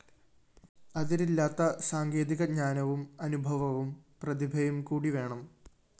അതിരില്ലാത്ത സാങ്കേതിക ജ്ഞാനവും അനുഭവവും പ്രതിഭയും കൂടി വേണം